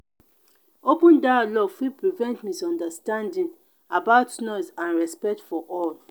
open dialogue fit prevent misunderstanding about noise and respect for all.